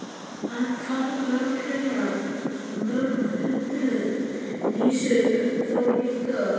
Hann kann örugglega mörg hundruð vísur um þá líka.